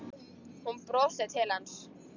Hún brosir til hans.